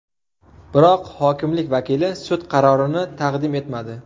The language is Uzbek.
Biroq hokimlik vakili sud qarorini taqdim etmadi.